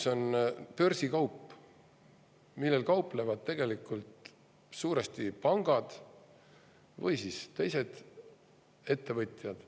See on börsikaup, millega kauplevad suuresti pangad või teised ettevõtted.